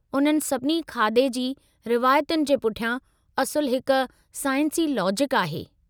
उन्हनि सभिनी खाधे जी रवायतुनि जे पुठियां असुलु हिक साइंसी लॉजिक आहे।